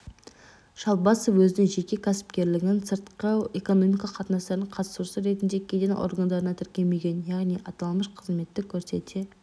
шалбасов өзінің жеке кәсіпкерлігін сыртқы экономикалық қатынастардың қатысушысы ретінде кеден органдарында тіркемеген яғни аталмыш қызметті көрсете